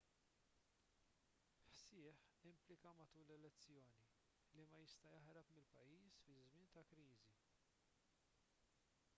hsieh implika matul l-elezzjoni li ma jista' jaħrab mill-pajjiż fi żmien ta' kriżi